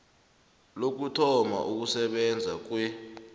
lokuthoma ukusebenza kwe